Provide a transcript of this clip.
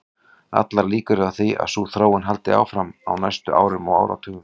Allar líkur eru á því að sú þróun haldi áfram á næstu árum og áratugum.